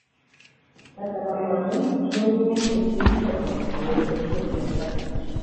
Kata kamano, nonro mosetim chon kuom yore manyien mag lando wach